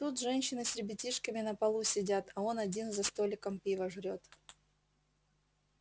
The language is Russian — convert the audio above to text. тут женщины с ребятишками на полу сидят а он один за столиком пиво жрёт